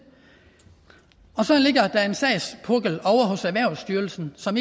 så ligger der en sagspukkel ovre hos erhvervsstyrelsen som